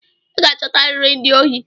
I ga-achotariri ndị ohi!